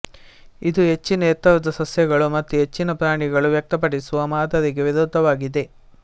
ಇದು ಹೆಚ್ಚಿನ ಎತ್ತರದ ಸಸ್ಯಗಳು ಮತ್ತು ಹೆಚ್ಚಿನ ಪ್ರಾಣಿಗಳು ವ್ಯಕ್ತಪಡಿಸುವ ಮಾದರಿಗೆ ವಿರುದ್ಧವಾಗಿದೆ